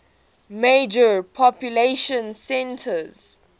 major population centers